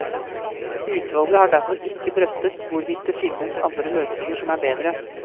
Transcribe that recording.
Utvalget har derfor ikke drøftet hvorvidt det finnes andre løsninger som er bedre.